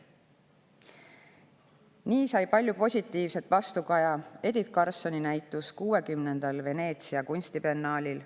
Nii sai palju positiivset vastukaja Edith Karlsoni näitus Veneetsia 60. kunstibiennaalil.